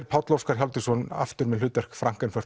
Páll Óskar Hjálmtýsson aftur með hlutverk